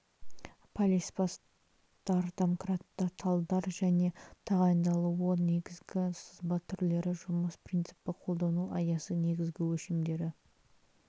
полиспасттар домкраттар талдар және тағайындалуы негізгі сызба түрлері жұмыс принципі қолдану аясы негізгі өлшемдері